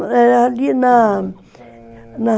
Ali na... Na...